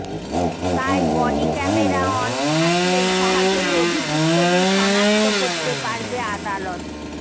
তাই body camera on থাকলে সহজেই অভিযুক্তদের সনাক্ত করতে পারবে আদালত